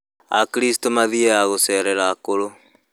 Akristo mathiaga gũcerera akũrũ.